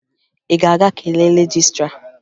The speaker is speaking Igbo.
Ị ga-aga kelee rejistra?